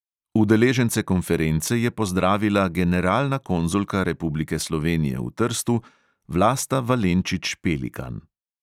Udeležence konference je pozdravila generalna konzulka republike slovenije v trstu vlasta valenčič-pelikan.